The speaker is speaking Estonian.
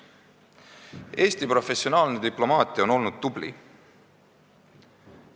Eesti professionaalsed diplomaadid on olnud tublid.